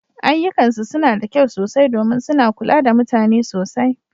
Ayyukansu suna da kyau sosai domin suna kula da mutane sosai.